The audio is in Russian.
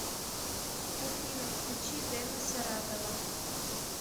афина включи дена саратова